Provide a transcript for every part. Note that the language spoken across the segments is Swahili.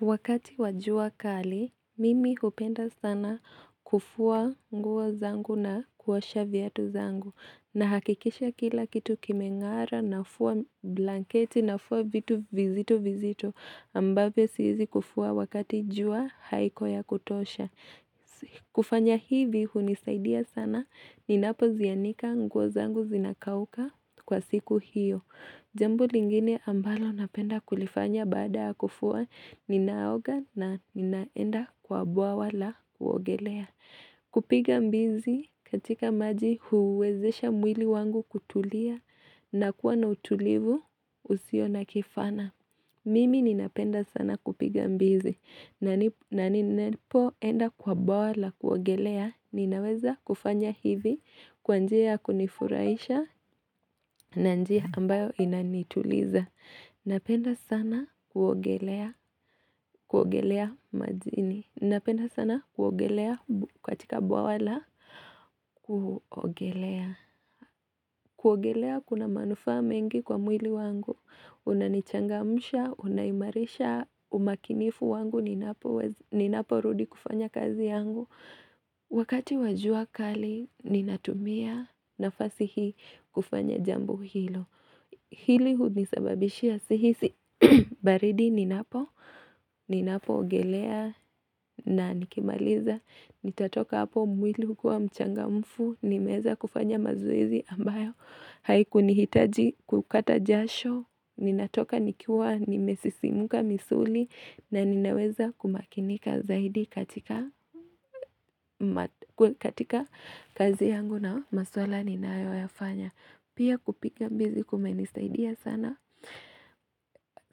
Wakati wa jua kali, mimi kupenda sana kufua nguo zangu na kuosha viatu zangu. Nahakikisha kila kitu kimengara nafua blanketi nafua vitu vizitu vizitu ambavyo siwezi kufua wakati jua haiko ya kutosha. Kufanya hivi hunisaidia sana ninapo zianika nguo zangu zinakauka kwa siku hiyo. Jambu lingine ambalo napenda kulifanya baada ya kufua ninaoga na ninaenda kwa bawa la kuogelea. Kupiga mbizi katika maji huwezesha mwili wangu kutulia na kuwa na utulivu usio na kifana. Mimi ninapenda sana kupiga mbizi na ninapo enda kwa bwawa la kuogelea ninaweza kufanya hivi kwa njia ya kunifurahisha na njia ambayo inani. Tuliza. Napenda sana kuogelea majini. Napenda sana kuogelea katika bwawa la. Kuogelea. Kuogelea kuna manufaa mengi kwa mwili wangu. Unanichangamsha. Unaimarisha umakinifu wangu ninapo. Ninapo rudi kufanya kazi yangu. Wakati wa jua kali ninatumia nafasi hii kufanya jambo hilo. Hili hunisababishia sihisi baridi ninapo, ninapo ogelea na nikimaliza, nitatoka hapo mwili ukiwa mchangamfu, nimeweza kufanya mazoezi ambayo, haikunihitaji kukata jasho, ninatoka nikiwa nimesisimuka misuli na ninaweza kumakinika zaidi katika katika kazi yangu na maswala ninayo yafanya. Pia kupiga mbizi kumenisaidia sana,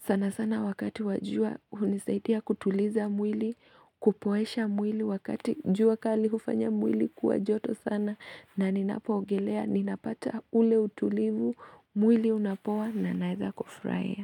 sana sana wakati wa jua hunisaidia kutuliza mwili, kupoesha mwili wakati jua kali hufanya mwili kuwa joto sana na ninapo ogelea ninapata ule utulivu mwili unapoa na naweza kufurahia.